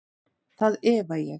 Það efa ég.